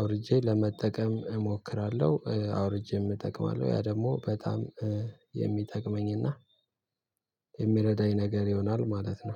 አውርጄ ለመጠቀም እሞክራለሁ። አውርጄም እጠቅማለሁ ያ ደግሞ በጣም የሚጠቅመኝ እና የሚረዳኝ ነገር ይሆናል ማለት ነው